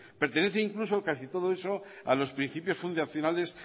pertenece incluso casi todo eso a los principios fundacionales